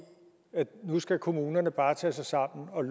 at nu skal kommunerne bare tage sig sammen og